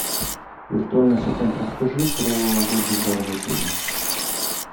виртуальный ассистент расскажи про лоби бар в отеле